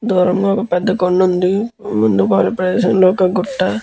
దూరంగా ఒక పెద్ద కొండ ఉంది. ముందు భఃగం లో ఒక పెద్ద గుట్ట--